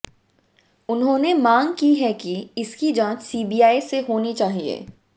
उन्होंने मांग की है कि इसकी जांच सीबीआई से होनी चाहिये